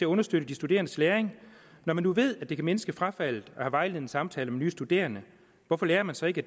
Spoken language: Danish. understøtte de studerendes læring når man nu ved at det kan mindske frafaldet at have vejledende samtaler med nye studerende hvorfor lærer man så ikke